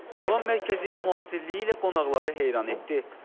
Muğam mərkəzi müasirliyi ilə qonaqları heyran etdi.